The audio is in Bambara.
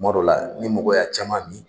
Kuma dɔ la, ni mɔgɔ y'a caman min